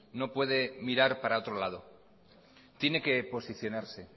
no puede mirar para otro lado tiene que posicionarse